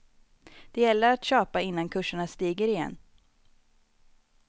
Det gäller att köpa innan kurserna stiger igen.